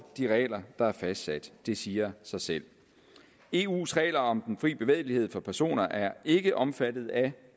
de regler der er fastsat det siger sig selv eus regler om den fri bevægelighed for personer er ikke omfattet af